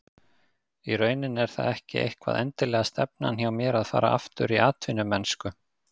Í rauninni er það ekki eitthvað endilega stefnan hjá mér að fara aftur í atvinnumennsku.